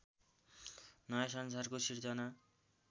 नयाँ संसारको सृजना